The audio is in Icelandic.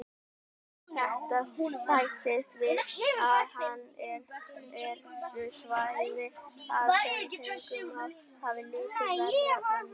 Við þetta bætist að enn eru svæði þar sem tungumál hafa lítið verið könnuð.